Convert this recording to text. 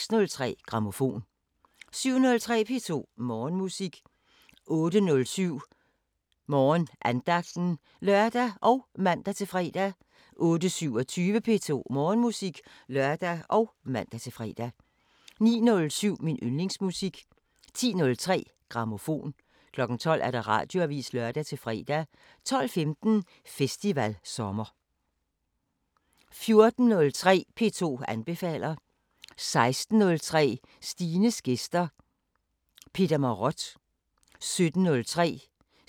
14:03: P2 anbefaler 16:03: Stines gæster: Peter Marott 17:03: Sådan lyder landet: Spanien (Afs. 4) 17:50: Intermezzo 18:03: Bravo – med Lotte Heise 19:20: P2 Operaaften 22:00: Natsværmeren (lør-søn og tir-fre) 00:05: P2 Koncerten *(lør-søn) 02:45: Intermezzo (lør-søn) 03:03: Natsværmeren *(lør og man-fre)